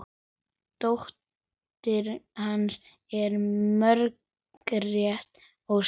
Dóttir hans er Margrét Ósk.